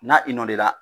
Na i nɔ de la